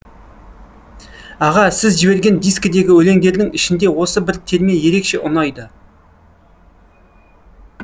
аға сіз жіберген дискідегі өлеңдердің ішінде осы бір терме ерекше ұнайды